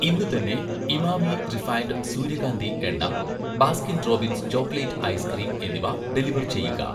ഇന്ന് തന്നെ 'ഇമാമി' റിഫൈൻഡ് സൂര്യകാന്തി എണ്ണ, 'ബാസ്കിൻ റോബിൻസ്' ചോക്ലേറ്റ് ഐസ്ക്രീം എന്നിവ ഡെലിവർ ചെയ്യുക